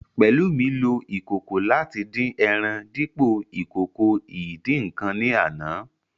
Pelumi lo ìkòkò láti dín ẹran dípo ìkòkò ìdín-ǹǹkan ní àná